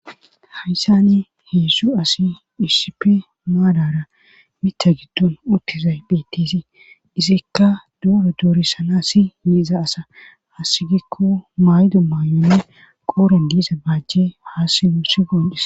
haysani hedzdzu asi isipe maadara mita giddon uttezay phetisi izikka dooro doorissana si yiiza asa hassigikko maydo maayonne qooren diiza baajje haa simuu si goondhis